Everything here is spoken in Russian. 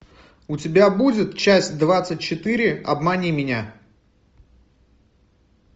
у тебя будет часть двадцать четыре обмани меня